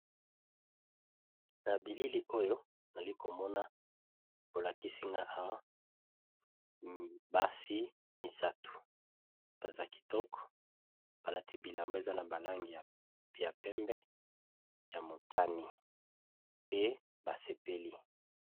Na bilili oyo nali komona bolakisi nga awa basi misato baza kitoko balati bilamba eza na balangi ya pembe ,ya motani, pe basepeli.